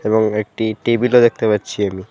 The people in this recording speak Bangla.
এবং একটি টেবিল -ও দেখতে পাচ্ছি আমি।